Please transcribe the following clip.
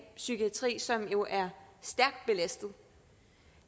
psykiatri som jo er stærkt belastet